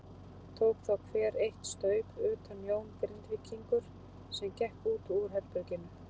Tók þá hver eitt staup utan Jón Grindvíkingur sem gekk út úr herberginu.